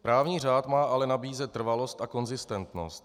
Právní řád má ale nabízet trvalost a konzistentnost.